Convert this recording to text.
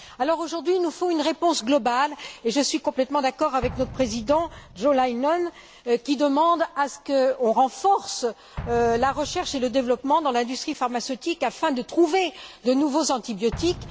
Il nous faut donc à présent une réponse globale, et je suis complètement d'accord avec notre président, Jo Leinen, qui demande qu'on renforce la recherche et le développement dans l'industrie pharmaceutique afin de trouver de nouveaux antibiotiques.